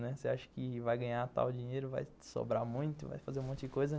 Você acha que vai ganhar tal dinheiro, vai sobrar muito, vai fazer um monte de coisa.